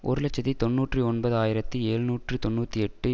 ஒரு இலட்சத்தி தொன்னூற்றி ஒன்பது ஆயிரத்தி எழுநூற்று தொன்னூற்றி எட்டு